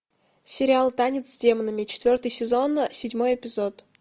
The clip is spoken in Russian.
сериал танец с демонами четвертый сезон седьмой эпизод